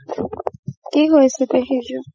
কি হয় আছে পেহিদেওৰ?